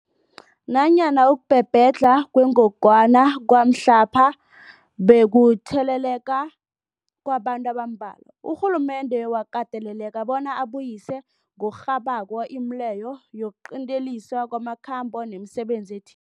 Nanyana ukubhebhedlha kwengogwana kwamhlapha bekukutheleleka kwabantu abambalwa, urhulumende wakateleleka bona abuyise ngokurhabako imileyo yokuqinteliswa kwamakhambo nemisebenzi eth